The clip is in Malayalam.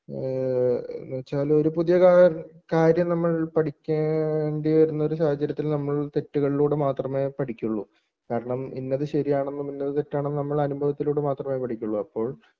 ഏഹ് എന്ന് വെച്ചാൽ ഒരു പുതിയ കാ കാര്യം നമ്മൾ പഠിക്കേണ്ടി വരുന്ന ഒരു സാഹചര്യത്തിൽ നമ്മൾ തെറ്റുകളിലൂടെ മാത്രമേ പഠിക്കുകയുള്ളൂ കാരണം ഇന്നത് ശരിയാണെന്നും ഇന്നത് തെറ്റാണെന്നും നമ്മൾ അനുഭവത്തിലൂടെ മാത്രമേ പഠിക്കുകയുള്ളൂ അപ്പോൾ